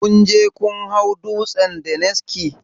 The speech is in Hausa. Kunje kun hau dutsen daniski?